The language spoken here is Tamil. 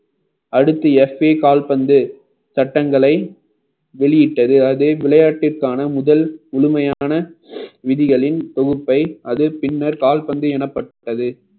அடுத்து எஸ்பி கால்பந்து சட்டங்களை வெளியிட்டது அதே விளையாட்டிற்கான முதல் முழுமையான விதிகளின் தொகுப்பை அது பின்னர் கால்பந்து எனப்பட்டது